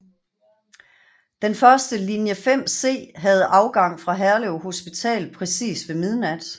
Den første linje 5C havde afgang fra Herlev Hospital præcis ved midnat